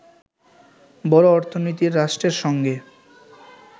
বড় অর্থনীতির রাষ্ট্রের সঙ্গে